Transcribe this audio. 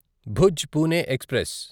Bhuj Pune express